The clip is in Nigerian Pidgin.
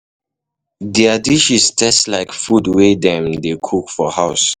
Their dishes um taste like food wey dem dey um cook for house